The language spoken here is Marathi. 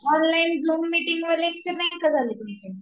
ऑनलाइन झुम मीटिंग वर लेक्चर नाही का झाले तुमचे